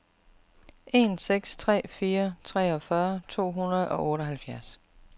en seks tre fire treogfyrre to hundrede og otteoghalvfjerds